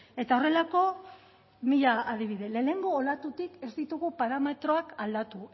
eta horrelako mila adibide lehenengo olatutik ez ditugu parametroak aldatu